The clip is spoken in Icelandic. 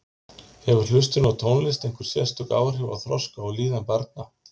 Hefur hlustun á tónlist einhver sérstök áhrif á þroska og líðan barna?